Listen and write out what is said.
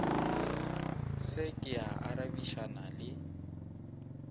se ke a arabišana le